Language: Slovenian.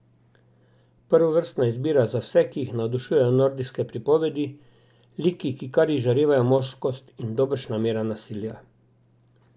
Prvovrstna izbira za vse, ki jih navdušujejo nordijske pripovedi, liki, ki kar izžarevajo moškost, in dobršna mera nasilja.